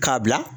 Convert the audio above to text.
K'a bila